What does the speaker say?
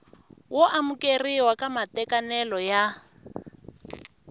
wo amukeriwa ka matekanelo ya